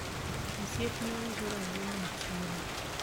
osiepna uso rabuon e chiro